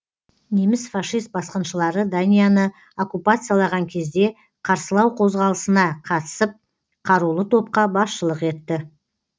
неміс фашист басқыншылары данияны окуппациялаған кезде қарсылау қозғалысына қатысып қарулы топқа басшылық етті